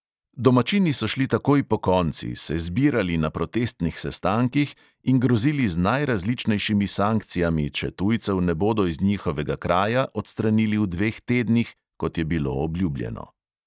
Domačini so šli takoj pokonci, se zbirali na protestnih sestankih in grozili z najrazličnejšimi sankcijami, če tujcev ne bodo iz njihovega kraja odstranili v dveh tednih, kot je bilo obljubljeno.